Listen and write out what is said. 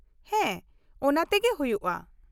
ᱦᱮᱸ, ᱚᱱᱟᱛᱮᱜᱮ ᱦᱩᱭᱩᱜᱼᱟ ᱾